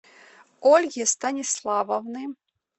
ольги станиславовны